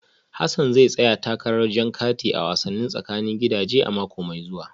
Hassan zai tsaya takarar jan kati a wasannin tsakanin gidaje a mako mai zuwa